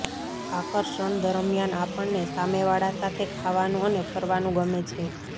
આકર્ષણ દરમિયાન આપણને સામે વાળા સાથે ખાવાનું અને ફરવાનું ગમે છે